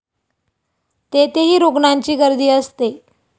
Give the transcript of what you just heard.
तेथेही रुग्णांची गर्दी असते.